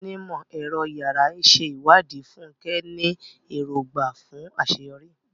Onímọ̀-ẹ̀rọ yàrá ìṣèwádìí, Fúnkẹ́, ní èrògbà fún àṣeyọrí